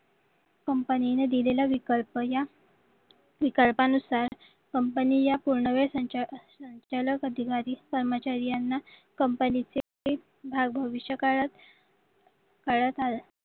कंपनीने दिलेला विकल्प या विकल्पानुसार कंपनी या पूर्णवेळ संचालक अधिकारी कर्मचारी यांना कंपनीचे भाव भविष्य काळात